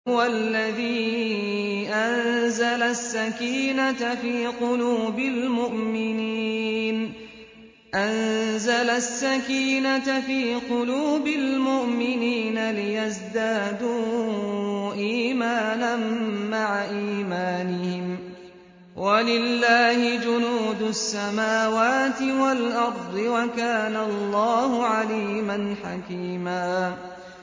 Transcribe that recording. هُوَ الَّذِي أَنزَلَ السَّكِينَةَ فِي قُلُوبِ الْمُؤْمِنِينَ لِيَزْدَادُوا إِيمَانًا مَّعَ إِيمَانِهِمْ ۗ وَلِلَّهِ جُنُودُ السَّمَاوَاتِ وَالْأَرْضِ ۚ وَكَانَ اللَّهُ عَلِيمًا حَكِيمًا